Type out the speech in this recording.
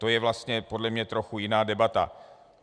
To je vlastně podle mě trochu jiná debata.